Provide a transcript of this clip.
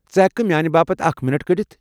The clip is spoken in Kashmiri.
ژٕ ہٮ۪ککھٕہٕ میانہِ باپت اكھِ مِنٹ كڈِتھ ؟